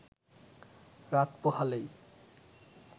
রাত পোহালেই